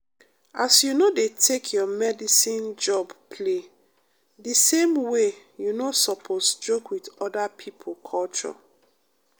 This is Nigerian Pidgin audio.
as you no dey take your medicine job play de same way you no sopose joke wit oda pipo culture.